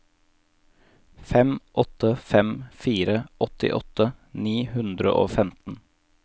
fem åtte fem fire åttiåtte ni hundre og femten